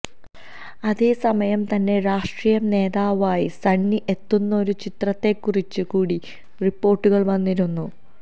അതേസമയം തന്നെ രാഷ്ട്രീയ നേതാവായി സണ്ണി എത്തുന്നൊരു ചിത്രത്തെക്കുറിച്ച് കൂടി റിപ്പോര്ട്ടുകള് വന്നിരുന്നു